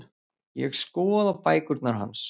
Ég skoða bækurnar hans.